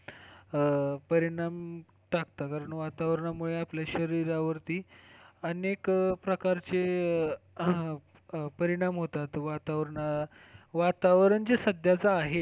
अह परिणाम टाकतात कारण वातावरण मुले आपल्या शरीरावरती अनेक प्रकारचे परिणाम होतात वातावरण, वातावरण जे सध्याचे आहे,